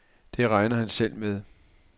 Det regner han selv med.